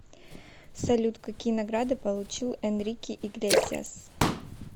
салют какие награды получил энрике иглесиас